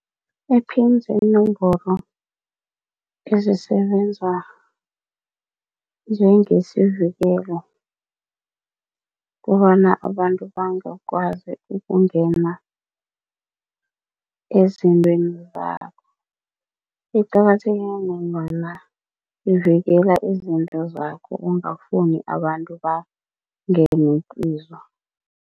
Iphini ziinomboro ezisebenza njengesivikela kobana abantu bangakwazi ukungena ezintweni zakho. Iqakatheke ngombana ivikela izinto zakho ongafuni abantu bangene kizo.